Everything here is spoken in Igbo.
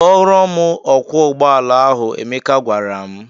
"Kporọ m ọkwọ ụgbọala ahụ," Emeka gwara m.